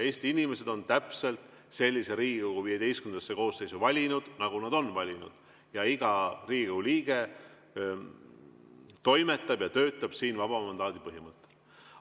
Eesti inimesed on täpselt sellise Riigikogu XV koosseisu valinud, nagu nad on valinud, ja iga Riigikogu liige toimetab ja töötab siin vaba mandaadi põhimõttel.